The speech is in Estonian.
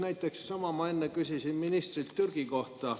Näiteks ma enne küsisin ministrilt Türgi kohta.